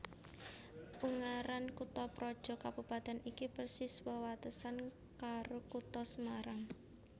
Ungaran kuthaprojo kabupatèn iki persis wewatesan karo Kutha Semarang